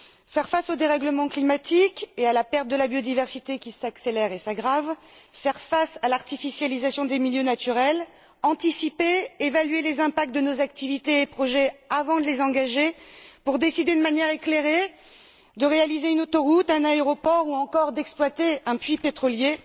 Faire face au dérèglement climatique et à la perte de la biodiversité qui s'accélère et s'aggrave, faire face à l'artificialisation des milieux naturels, anticiper, évaluer les impacts de nos activités et projets avant de les engager, pour décider de manière éclairée, de réaliser une autoroute, un aéroport ou encore d'exploiter un puits pétrolier,